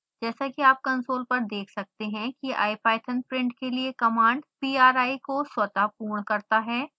जैसा कि आप कंसोल पर देख सकते हैं कि ipython प्रिंट के लिए कमांड pri को स्वतः पूर्ण करता है